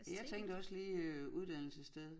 Jeg tænkte også lige øh uddannelsessted